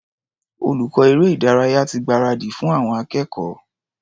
Olùkọ́ eré-ìdárayá ti gbáradì fún àwọn akẹ́kọ̀ọ́.